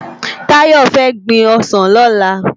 Tayo fè gbin òsán lòlá